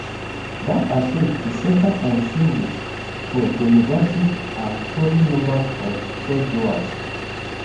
dat approach bin centre on changes for demographics and falling numbers of churchgoers